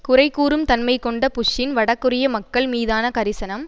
குறைகூறும் தன்மை கொண்ட புஷ்ஷின் வடகொரிய மக்கள் மீதான கரிசனம்